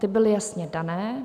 Ty byly jasně dané.